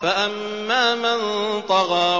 فَأَمَّا مَن طَغَىٰ